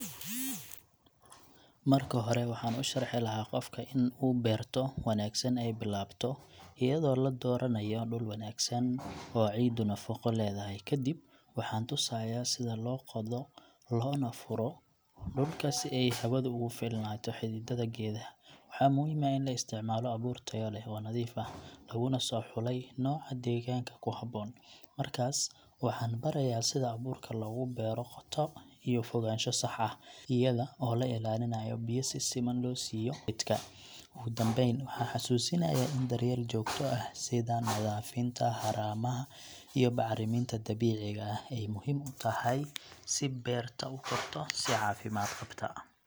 Marka hore, waxaan u sharxi lahaa qofka in uu beerto wanaagsan ay bilaabato iyadoo la dooranayo dhul wanaagsan oo ciiddu nafaqo leedahay. Kadib waxaan tusayaa sida loo qodo loona furo dhulka si ay hawadu ugu filnaato xididdada geedaha. Waxaa muhiim ah in la isticmaalo abuur tayo leh, oo nadiif ah, laguna soo xulay nooca deegaanka ku habboon. Markaas, waxaan barayaa sida abuurka loogu beero qoto iyo fogaansho sax ah, iyada oo la ilaalinayo biyo si siman loo siiyo geedka. Ugu dambeyn, waxaan xasuusinayaa in daryeel joogto ah, sida nadiifinta haramaha iyo bacriminta dabiiciga ah, ay muhiim u tahay si beerta u korto si caafimaad qabta.